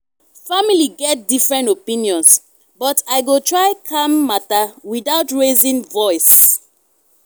family get different opinions but i go try calm matter without raising voice.